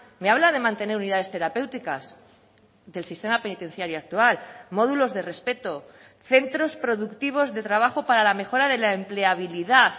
me habla de mantener unidades terapéuticas del sistema penitenciario actual módulos de respeto centros productivos de trabajo para la mejora de la empleabilidad